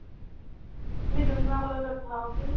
তুমি ডুমডুমা college ত পঢ়া কৈছো ।